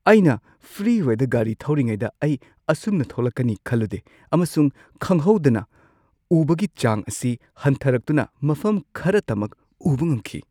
ꯑꯩꯅ ꯐ꯭ꯔꯤꯋꯦꯗ ꯒꯥꯔꯤ ꯊꯧꯔꯤꯉꯩꯗ ꯑꯩ ꯑꯁꯨꯝꯅ ꯊꯣꯛꯂꯛꯅꯤ ꯈꯜꯂꯨꯗꯦ ꯑꯃꯁꯨꯡ ꯈꯪꯍꯧꯗꯅ ꯎꯕꯒꯤ ꯆꯥꯡ ꯑꯁꯤ ꯍꯟꯊꯔꯛꯇꯨꯅ ꯃꯐꯝ ꯈꯔꯇꯃꯛ ꯎꯕ ꯉꯝꯈꯤ꯫